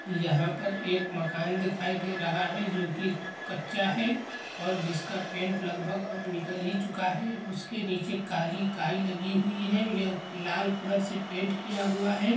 यहाँ पर एक मकान दिखाई दे रहा है जो कि कच्चा है और जिसका पेंट लगभग अब निकल ही चुका है उसके नीचे काली काई लगी हुई है यह लाल कलर से पेंट किया हुआ है।